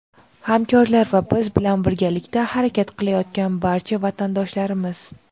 hamkorlar va biz bilan birgalikda harakat qilayotgan barcha vatandoshlarimiz!.